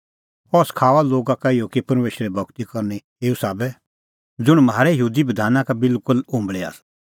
अह सखाऊआ लोगा का इहअ कि परमेशरे भगती करनी एऊ साबै ज़ुंण म्हारै यहूदी बधाना का बिलकुल उंबल़ी आसा